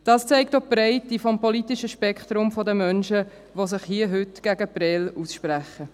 Das zeigt auch die Breite des politischen Spektrums der Menschen, die sich hier und heute gegen Prêles aussprechen.